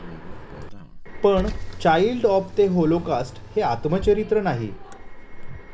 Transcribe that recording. पण 'child of the Holocaust' हे आत्मचरित्र नाही.